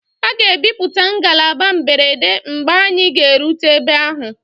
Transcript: A ga-ejupụta ngalaba mberede mgbe anyị ga-erute ebe ahụ.